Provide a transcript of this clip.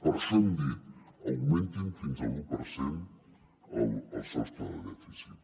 per això hem dit augmentin fins a l’u per cent el sostre de dèficit